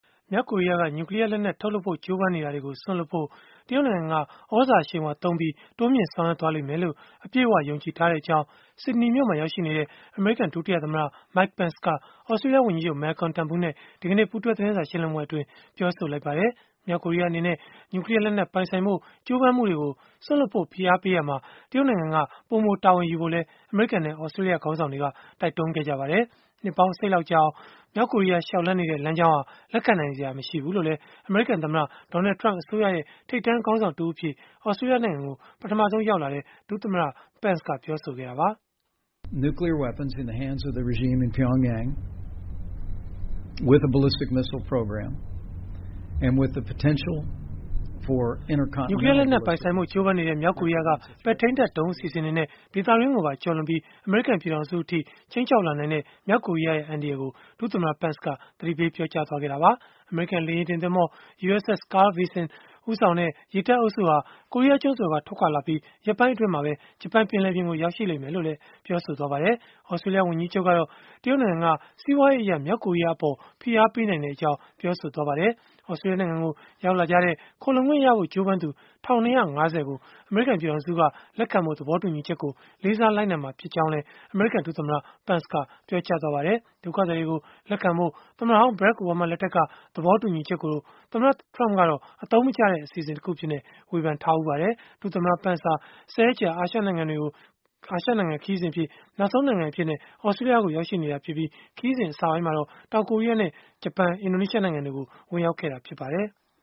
မြောက်ကိုရီးယားက နျူကလီးယားလက်နက် ထုတ်လုပ်ဖို့ ကြိုးပမ်းနေတာတွေကို စွန့်လွှတ်ဖို့ တရုတ်နိုင်ငံက သြဇာအရှိန်အဝါသုံးပြီး ပိုမိုဆောင်ရွက်သွားလိမ့်မယ်လို့ အပြည့်အ၀ ယုံကြည်ထားကြောင်း ဆစ်ဒနီမြို့မှာ ရောက်ရှိနေတဲ့ အမေရိကန် ဒုတိယသမ္မတ Mike Pence က သြစတြေးလျဝန်ကြီးချုပ် Malcolm Turnbull နဲ့ ဒီကနေ့ ပူးတွဲသတင်းစာရှင်းလင်းပွဲမှာ ပြောဆိုလိုက်ပါတယ်။ မြောက်ကိုရီးယား အနေနဲ့ နျူကလီးယားလက်နက် ပိုင်ဆိုင်ဖို့ ကြိုးပမ်းမှုတွေကို စွန့်လွှတ်ဖို့ ဖိအားပေးရာမှာ တရုတ်နိုင်ငံက ပိုမိုတာဝန်ယူဖို့လည်း အမေရိကန်နဲ့ သြစတြေးလျ ခေါင်းဆောင်တွေက တိုက်တွန်းခဲ့ကြပါတယ်။ နှစ်ပေါင်း အစိတ်လောက် ကြာအောင် မြောက်ကိုရီးယား လျှောက်လှမ်းနေတဲ့ လမ်းကြောင်းဟာ လက်ခံနိုင်စရာ မရှိဘူးလို့လည်း အမေရိကန်သမ္မတ Donald Trump အစိုးရရဲ့ ထိပ်တန်းခေါင်းဆောင်တဦးအဖြစ် သြစတြေးလျကို ပထမဆုံးရောက်လာတဲ့ ဒုသမ္မတ Pence က ပြောဆိုခဲ့တာပါ။ နျူကလီးယားလက်နက် ပိုင်ဆိုင်ဖို့ ကြိုးပမ်းနေတဲ့ မြောက်ကိုရီးယားက ပဲ့ထိန်းတပ်ဒုံး အစီအစဉ်တွေနဲ့ ဒေသတွင်းကိုပါ ကျော်လွန်ပြီး အမေရိကန် ပြည်ထောင်စုအထိ ခြိမ်းခြောက်လာနိုင်တဲ့ မြောက်ကိုရီးယားရဲ့ အန္တရာယ်ကို ဒုသမ္မတ Pence က သတိပေး ပြောဆိုသွားခဲ့တာပါ။ အမေရိကန် လေယာဉ်တင်သင်္ဘော USS Carl Vinson ဦးဆောင်တဲ့ ရေတပ်အုပ်စုဟာ ကိုရီးယားကျွန်းဆွယ်က ထွက်ခွာလာပြီး၊ ရက်ပိုင်းအတွင်း ဂျပန်ပင်လယ်ပြင်ကို ရောက်မယ်လို့လည်း ပြောပါတယ်။ သြစတြေးလျ ဝန်ကြီးချုပ်ကတော့ တရုတ်နိုင်ငံက စီးပွားရေးအရ မြောက်ကိုရီးယားကို ဖိအားပေးနိုင်ကြောင်း ပြောဆိုခဲ့တာပါ။ သြစတြေးလျနိုင်ငံကို ရောက်လာကြတဲ့ ခိုလှုံခွင့်ရဖို့ကြိုးပမ်းသူ ၁၂၅၀ ကို အမေရိကန်က လက်ခံဖို့ သဘောတူညီချက်ကို လေးစားလိုက်နာမှာ ဖြစ်ကြောင်းလည်း အမေရိကန်ဒုသမ္မတ Pence က ပြောကြားခဲ့ပါတယ်။ ဒုက္ခသည်တွေကို လက်ခံဖို့ သမ္မတဟောင်း Barack Obama လက်ထက်က သဘောတူညီချက်ကို သမ္မတ Trump ကတော့ အသုံးမကျတဲ့ အစီအစဉ်တခုအဖြစ် ဝေဖန်ထားတာပါ။ ဒုသမ္မတ Pence ဟာ ၁၀ ရက်ကြာ အာရှခရီးစဉ် နောက်ဆုံးနိုင်ငံအဖြစ် သြစတြေးလျကို ရောက်ရှိနေတာဖြစ်ပြီး၊ ခရီးစဉ်အစမှာတော့ တောင်ကိုရီးယား၊ ဂျပန်နဲ့ အင်ဒိုနီးရှားနိုင်ငံတွေကို ဝင်ရောက်ခဲ့တာ ဖြစ်ပါတယ်။